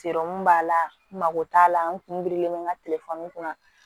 b'a la n mago t'a la n kun birilen n ka telefɔni kun na